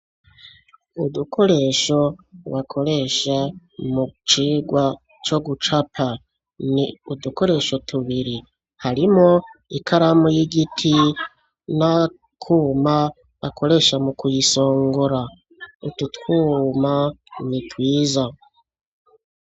Udukoresho bakoresha mu cigwa co gucapa, ni udukoresho tubiri, harimwo ikaramu y'igiti n'akuma bakoresha mu kuyisongora, utu twuma ni twiza.